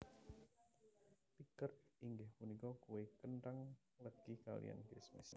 Pickert inggih punika kue kenthang legi kaliyan kismis